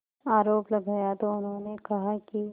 आरोप लगाया तो उन्होंने कहा कि